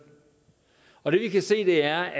og det vi kan se der